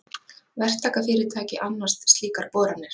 Verktakafyrirtæki annast slíkar boranir.